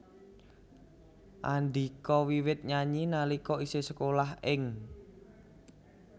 Andhika wiwit nyanyi nalika isih sekolah ing